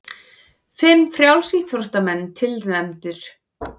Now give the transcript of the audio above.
Fimm frjálsíþróttamenn tilnefndir